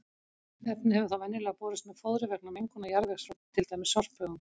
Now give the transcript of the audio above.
Efnið hefur þá venjulega borist með fóðri vegna mengunar jarðvegs frá til dæmis sorphaugum.